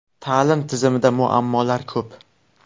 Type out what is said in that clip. Ta’lim tizimida muammolar ko‘p.